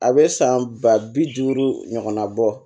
A bɛ san ba bi duuru ɲɔgɔnna bɔ